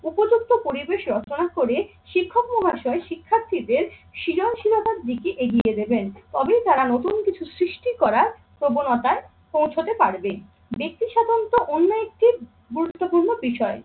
উপযুক্ত পরিবেশ রচনা করে শিক্ষক মহাশয় শিক্ষার্থীদের শিলনশীলতার দিকে এগিয়ে দেবেন। তবেই তারা নতুন কিছু সৃষ্টি করার প্রবণতায় পৌঁছতে পারবে। ব্যাক্তি সাধারণত অন্য একটি গুরুত্যপূর্ণ বিষয়।